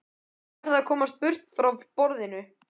Ég verð að komast burt frá borðinu.